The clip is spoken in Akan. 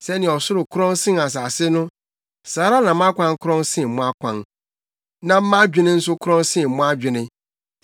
Sɛnea ɔsoro korɔn sen asase no, saa ara na mʼakwan korɔn sen mo akwan na mʼadwene nso korɔn sen mo adwene.